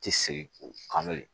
Ti segin k'o kan de